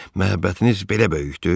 Məhəbbətiniz belə böyükdür?